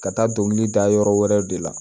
Ka taa dɔnkili da yɔrɔ wɛrɛ de la